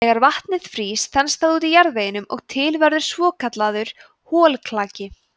þegar vatnið frýst þenst það út í jarðveginum og til verður svokallaður holklaki